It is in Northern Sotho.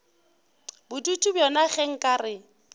bodutu bjona ge nka re